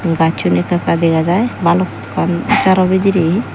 gajsun eka eka degajai balukan jaro bidirey.